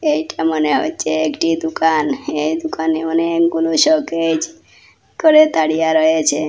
এইটা মনে হচ্ছে একটি দুকান এই দোকানে অনেকগুলো শোকেজ করে দাড়িয়া রয়েছে।